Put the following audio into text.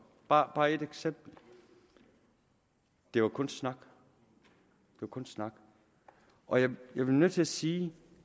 bare ét eksempel det var kun snak kun snak og jeg bliver nødt til at sige